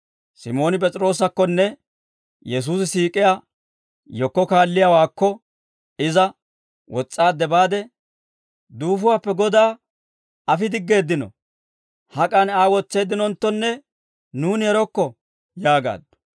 Simooni P'es'iroosakkonne Yesuusi siik'iyaa yekko kaalliyaawaakko, iza wos's'aadde baade, «Duufuwaappe Godaa afi diggeeddino; hak'an Aa wotseeddinonttonne nuuni erokko» yaagaaddu.